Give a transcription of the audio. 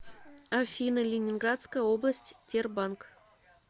афина ленинградская область тербанк